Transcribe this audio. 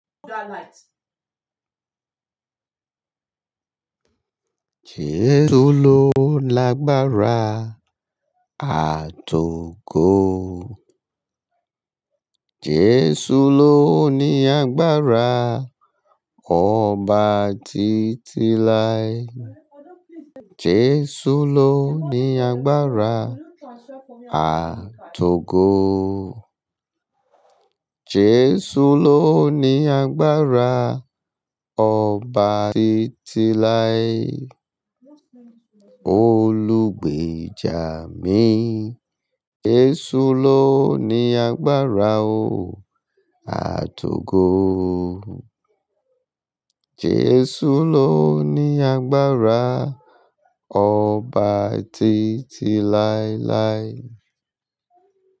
Jésù lọ l'agbára àt'ògo jesu ló ní agbára ọba títí láí Jesu ló ní agbára, àt'ogo. Jesu ló ní agbára ọba títí láí, olùgbèjà mi, jesu ló ní agbára o àt'ògo Jesu ló ní agbára, ọba títí láéláé.